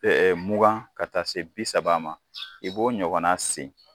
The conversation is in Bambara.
mugan ka taa se bi saba ma, i b'o ɲɔgɔn segin